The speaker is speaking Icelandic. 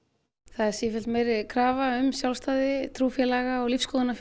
það er sífellt meiri krafa um sjálfstæði trúfélaga og